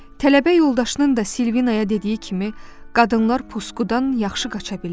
Tələbə yoldaşının da Silvinaya dediyi kimi, qadınlar pusuqdan yaxşı qaça bilirlər.